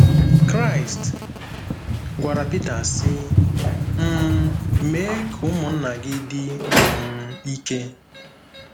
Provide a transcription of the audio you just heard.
Kraịst gwara Pita, sị: “ um Mee ka ụmụnna gị dị um ike.